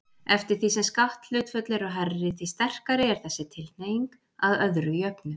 Eftir því sem skatthlutföll eru hærri, því sterkari er þessi tilhneiging, að öðru jöfnu.